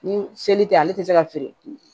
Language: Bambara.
Ni seli tɛ ale tɛ se ka feere